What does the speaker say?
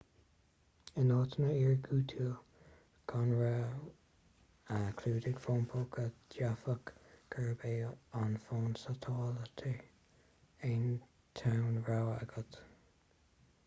in áiteanna iargúlta gan raon clúdaigh fón póca d'fhéadfadh gurb é an fón satailíte an t-aon rogha atá agat